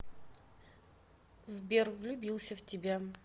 сбер влюбился в тебя